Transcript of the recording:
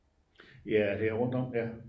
ja det er rundt om der